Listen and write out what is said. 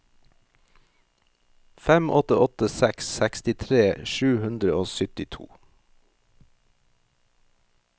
fem åtte åtte seks sekstitre sju hundre og syttito